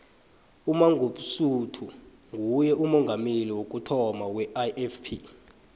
umangosuthu nguye umongameli wokuthoma weifp